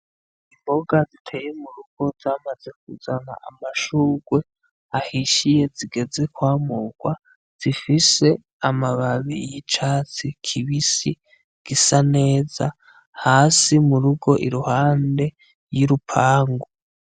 Imboga ziteye mu rugo zamaze kuzana amashurwe ahishiye zigeze kwamurwa zifise amababi y'icatsi kibisi gisa neza hasi mu rugo i ruhande y'i rupangu.